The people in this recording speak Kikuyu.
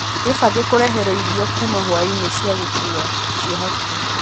wibange kureheruo irio kuma hwainī cia gūkuwa cia hakuhī